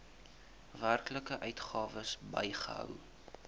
werklike uitgawes bygehou